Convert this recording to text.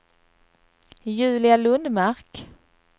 Julia Lundmark